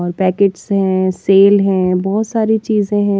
और पैकेट्स है सेल है बहोत सारी चीजे हैं।